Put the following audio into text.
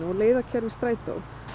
leiðarkerfi Strætó